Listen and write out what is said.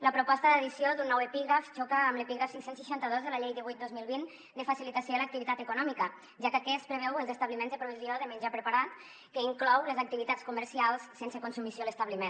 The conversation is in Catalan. la proposta d’addició d’un nou epígraf xoca amb l’epígraf cinc cents i seixanta dos de la llei divuit dos mil vint de facilitació de l’activitat econòmica ja que aquest preveu els establiments de provisió de menjar preparat que inclou les activitats comercials sense consumició a l’establiment